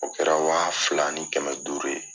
O kɛra wa fila ni kɛmɛ duuru ye